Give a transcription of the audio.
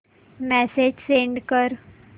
message send कर